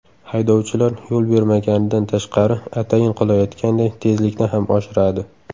Haydovchilar yo‘l bermaganidan tashqari atayin qilayotganday tezlikni ham oshiradi.